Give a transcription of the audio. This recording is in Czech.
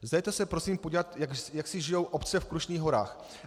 Zajeďte se prosím podívat, jak si žijí obce v Krušných horách.